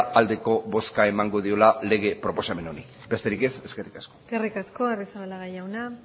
aldeko bozka emango diola lege proposamen honi besterik ez eskerrik asko eskerrik asko agirrezabala jauna